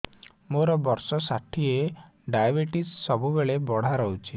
ମୋର ବର୍ଷ ଷାଠିଏ ଡାଏବେଟିସ ସବୁବେଳ ବଢ଼ା ରହୁଛି